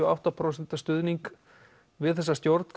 og átta prósent stuðning við þessa stjórn